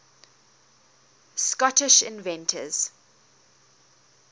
scottish inventors